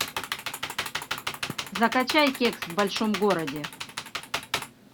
закачай кекс в большом городе